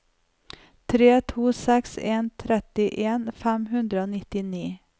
tre to seks en trettien fem hundre og nittini